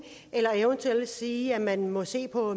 eller eventuelt vil sige at man må se på